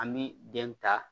An bɛ den ta